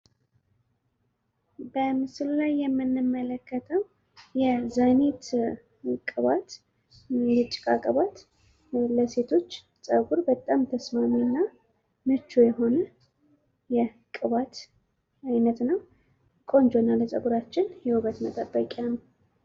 በምስሉ ላይ የምንመለከተው የዘኒት ቅባት ፤ የጭቃ ቅባት፣ ለሴቶች ጸጉር በጣም ተስማሚ እና ምቹ የሆነ የቅባት አይነት ነው። ቆንጆ እና ለጸጉራችን የዉበት መጠበቂያ ነው።